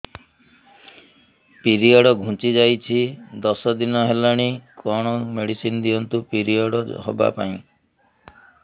period ଘୁଞ୍ଚି ଯାଇଛି ଦଶ ଦିନ ହେଲାଣି କଅଣ ମେଡିସିନ ଦିଅନ୍ତୁ ପିରିଅଡ଼ ହଵା ପାଈଁ